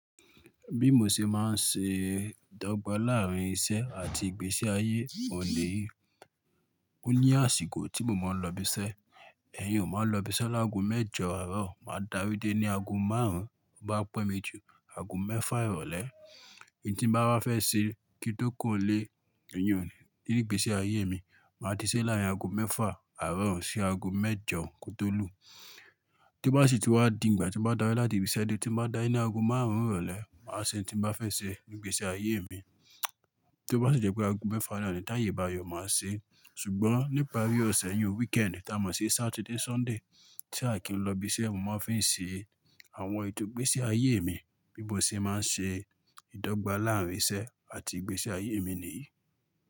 Bí mo ṣe máa ń ṣe ìdọ́gba láàrín iṣẹ́ àti ìgbésí ayé, òun niyi Ó ní àsìkò tí mo máa ń lọ ibi iṣẹ́, ẹ̀yin ò máa lọ ibi iṣẹ́ láàgùn mẹ́jọ àárọ̀, màá darí dé ní aago márùn-ún, bá pẹ́ mi jù, aago mẹ́fà ìrọ̀lẹ́. N tí ń bá wá fẹ́ ṣe kí tó kuro nlé, Ní gbèsè ayé mi, màá ti ṣe láàrín aago mẹ́fà àárọ̀ sí aago mẹ́jọ kótó lù. Tó bá sì tì wá di ìgbà tí mo bá dárí láti ibi iṣẹ́ dé tí mo bá dáa ní aago márùn-ún ìrọ̀lẹ́, màá ṣe ohun tí mo bá fẹ́ ṣe ní gbèsè ayé mi. Tó bá sì jẹ́ pé aago mẹ́fà àná ni t'áye bá yọ, màá ṣe é. Ṣùgbọ́n nípari ọ̀sẹ̀ yi o weekend, tá mọ̀ sí Saturday, Sunday tí a kì í lọ ibi iṣẹ́, mo máa ń fi ṣe àwọn ètò gbèsè ayé mi. Bí mo ṣe máa ń ṣe ìdọ́gba láàrín iṣẹ́ àti ìgbésí ayé mi nìyí.